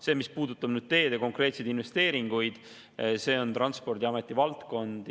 See, mis puudutab konkreetseid teede investeeringuid, on Transpordiameti valdkond.